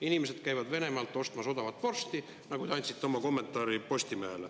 Inimesed käivad Venemaalt ostmas odavat vorsti, nagu te andsite oma kommentaari Postimehele.